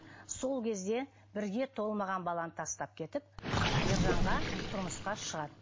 сол кезде бірге толмаған баланы тастап кетіп ержанға тұрмысқа шығады